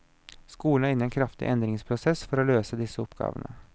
Skolen er inne i en kraftig endringsprosess for å løse disse oppgavene.